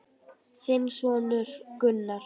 Þinn sonur Gunnar.